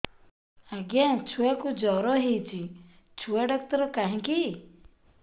ଆଜ୍ଞା ଛୁଆକୁ ଜର ହେଇଚି ଛୁଆ ଡାକ୍ତର କାହିଁ କି